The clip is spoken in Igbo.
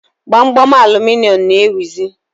Gbamgbam aluminịọmụ na-ewuzi